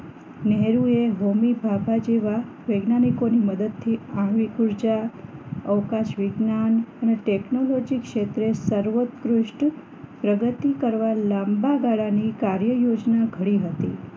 નેહરુ ભૌમીભાભા જેવા વૈજ્ઞાનિકો ની મદદથી આવી ઉર્જા અવકાશ વિજ્ઞાન અને ટેકનોલોજી ક્ષેત્રે સર્વર પૃષ્ઠ પ્રગતિ કરવા લાંબા ગાળાની કાર્ય યોજના ઘડી હતી